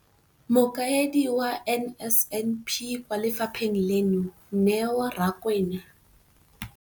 Mokaedi wa NSNP kwa lefapheng leno, Neo Rakwena,